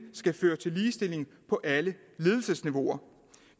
skal føre til ligestilling på alle ledelsesniveauer